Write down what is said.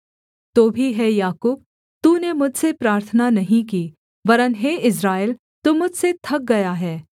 तो भी हे याकूब तूने मुझसे प्रार्थना नहीं की वरन् हे इस्राएल तू मुझसे थक गया है